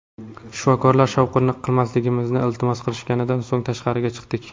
Shifokorlar shovqin qilmasligimizni iltimos qilishganidan so‘ng tashqariga chiqdik.